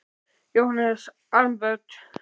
Jóhannes: Armbönd?